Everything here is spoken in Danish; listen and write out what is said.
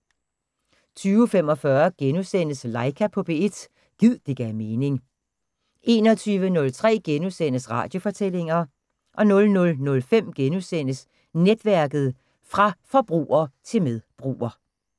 20:45: Laika på P1 – gid det gav mening * 21:03: Radiofortællinger * 00:05: Netværket: Fra forbruger til medbruger *